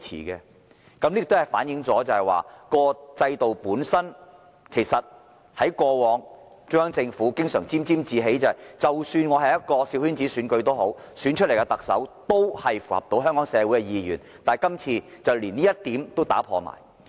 這亦反映出連中央政府過往經常感到沾沾自喜，認為即使是小圈子選舉，按制度本身選出來的特首也能符合香港社會意願這一點，在今次選舉也被打破了。